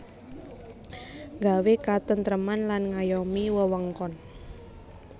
Nggawé katêntrêman lan ngayomi wewengkon